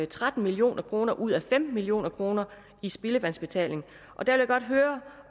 tretten million kroner ud af femten million kroner i spildevandsbetalingen jeg vil godt høre